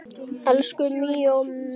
Elsku Míó minn